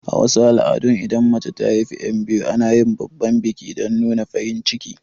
A wasu al'adun idan mace ta haifi yan biyu ana yin babban biki dan nuna farin cikin